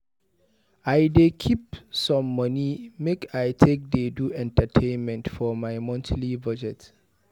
I dey keep some money make I take dey do entertainment for my monthly budget.